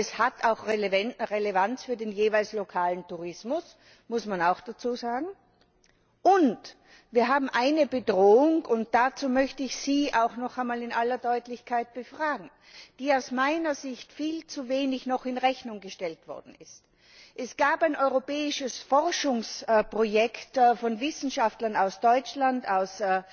Aber es hat auch Relevanz für den lokalen Tourismus, das muss man auch dazusagen. Und wir haben eine Bedrohung und dazu möchte ich Sie auch noch einmal in aller Deutlichkeit befragen die aus meiner Sicht noch viel zu wenig berücksichtigt worden ist Es gab ein europäisches Forschungsprojekt von Wissenschaftlern aus Deutschland, aus